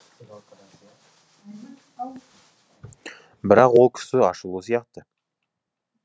бірақ ол кісі ашулы сияқты